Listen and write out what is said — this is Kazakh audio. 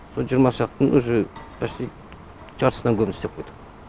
со жиырма шақтың үже почти жартысынан көбін істеп қойдық